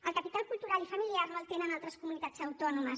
el capital cultural i familiar no el tenen altres comunitats autònomes